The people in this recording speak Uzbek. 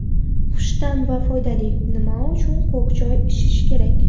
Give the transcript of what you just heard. Xushta’m va foydali: Nima uchun ko‘k choy ichish kerak?.